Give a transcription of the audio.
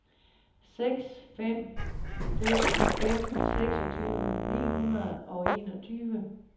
seks fem fem fem seksogtyve ni hundrede og enogtyve